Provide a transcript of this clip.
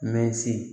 Mɛ si